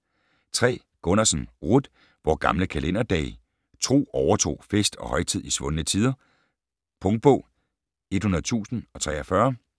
3. Gunnarsen, Ruth: Vore gamle kalenderdage: tro, overtro, fest og højtid i svundne tider Punktbog 100043